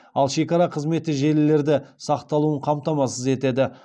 ал шекара қызметі желілерді сақталуын қамтамасыз етеді